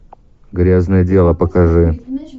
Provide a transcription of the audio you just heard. грязное дело покажи